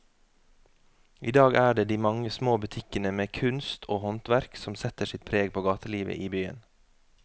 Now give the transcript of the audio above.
I dag er det de mange små butikkene med kunst og håndverk som setter sitt preg på gatelivet i byen.